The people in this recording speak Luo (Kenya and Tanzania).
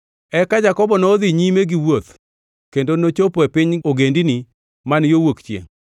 Eka Jakobo nodhi nyime gi wuoth kendo nochopo e piny ogendini man yo wuok chiengʼ.